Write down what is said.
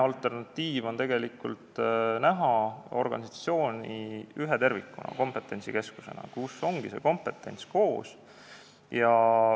Alternatiiv on näha organisatsiooni ühe tervikuna, kompetentsikeskusena, kus on kompetents koos.